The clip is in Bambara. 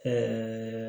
Ɛɛ